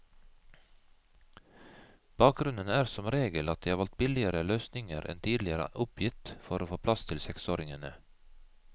Bakgrunnen er som regel at de har valgt billigere løsninger enn tidligere oppgitt for å få plass til seksåringene.